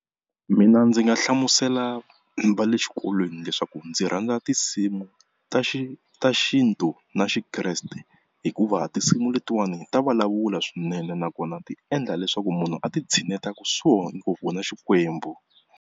Mina ndzi nga hlamusela va le xikolweni leswaku ndzi rhandza tinsimu ta ta xintu na Xikreste, hikuva tinsimu letiwani ta vulavula swinene nakona ti endla leswaku munhu a titshineta kusuhana ngopfu na Xikwembu.